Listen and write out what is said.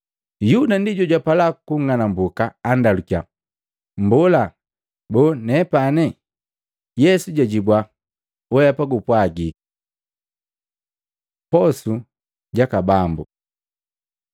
Yuda, ndi jojapala kunng'anumbuka andalukiya, “Mbola, boo, nepane?” Yesu jajibua, “Weapa gupwajiki.” Posu jaka Bambu Maluko 14:22-26; Luka 22:14-20; 1Akolintu 11:23-25